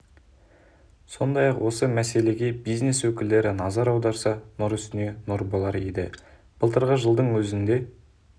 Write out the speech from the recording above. сондай-ақ осы мәселеге бизнес өкілдері назар аударса нұр үстіне нұр болар еді былтырғы жылдың өзінде